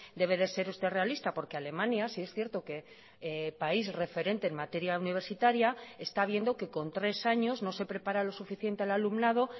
debe de ser usted realista porque alemania sí es cierto que país referente en materia universitaria está viendo que con tres años no se prepara lo suficiente al alumnado